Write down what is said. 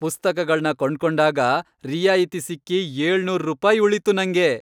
ಪುಸ್ತಕಗಳ್ನ ಕೊಂಡ್ಕೊಂಡಾಗ ರಿಯಾಯಿತಿ ಸಿಕ್ಕಿ ಏಳ್ನೂರ್ ರೂಪಾಯ್ ಉಳೀತು ನಂಗೆ!